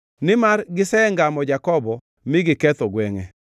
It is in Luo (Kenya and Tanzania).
nimar gisengamo Jakobo mi giketho gwengʼe.